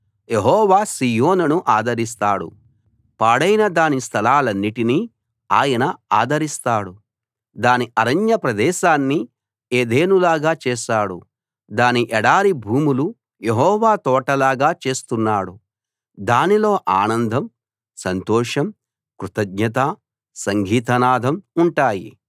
యెహోవా సీయోనును ఆదరిస్తాడు పాడైన దాని స్థలాలన్నిటినీ ఆయన ఆదరిస్తాడు దాని అరణ్య ప్రదేశాన్ని ఏదెనులాగా చేశాడు దాని ఎడారి భూములు యెహోవా తోటలాగా చేస్తున్నాడు దానిలో ఆనందం సంతోషం కృతజ్ఞత సంగీతనాదం ఉంటాయి